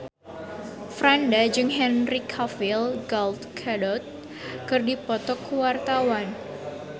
Franda jeung Henry Cavill Gal Gadot keur dipoto ku wartawan